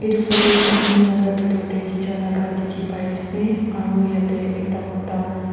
edu photo tu gym laka bitor tae khicha laka dikhipaiase aro yate ekta mota--